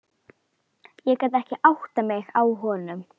Ég gat ekki áttað mig á honum.